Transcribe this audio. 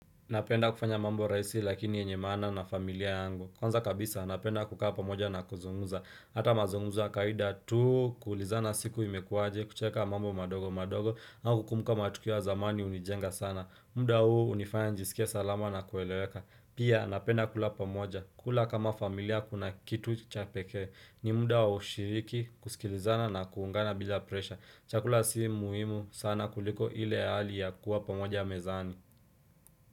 Napenda kufanya mambo rahisi lakini yenye maana na familia yangu. Kwanza kabisa napenda kukaa pamoja na kuzungumza. Hata mazungumzo ya kawaida tu kuulizana siku imekuwaje, kucheka mambo madogo madogo na kukumbuka matukio ya zamani hunijenga sana. Muda huu hunifanya nijisikie salama na kueleweka. Pia napenda kula pamoja. Kula kama familia kuna kitu chapeke. Ni muda wa ushiriki kusikilizana na kuungana bila presha. Chakula si muhimu sana kuliko ile hali ya kuwa pamoja mezani.